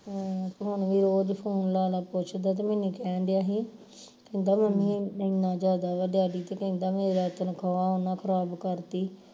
ਹਮ ਹੁਣ ਵੀ ਰੋਜ phone ਲਾ ਲਾ ਪੁੱਛਦਾ ਤੇ ਮੈਨੂੰ ਕਹਿਣ ਦਿਆਂ ਹੀ ਕਹਿੰਦਾ ਮੰਮੀ ਇੰਨਾ ਜਿਆਦਾ ਵਾ ਡੈਡੀ ਤੇ ਕਹਿੰਦਾ ਮੇਰਾ ਤਨਖਾਹ ਨਾ ਖਰਾਬ ਦੀ